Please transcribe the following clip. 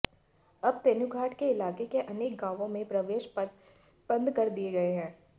अब तेनुघाट के इलाके के अनेक गांवों में प्रवेश पथ बंद कर दिये गये हैं